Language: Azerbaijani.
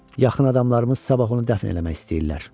Yaxın adamlarımız sabah onu dəfn eləmək istəyirlər.